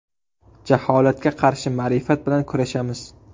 Jaholatga qarshi ma’rifat bilan kurashamiz!